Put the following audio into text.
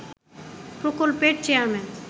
প্রকল্পের চেয়ারম্যান